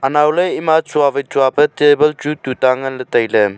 anao le ema tsua wai tsua pe table chu tuta nganle tai a.